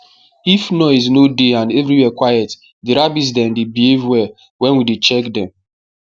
if noise no dey and everywhere quiet the rabbits dem dey behave well wen we dey check dem